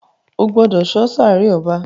o gbódò so sáré ọba!